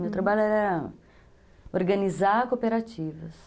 Meu trabalho era organizar cooperativas.